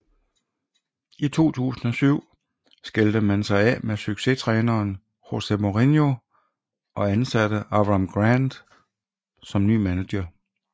I 2007 skilte man sig af med succestræneren José Mourinho og ansatte Avram Grant som ny manager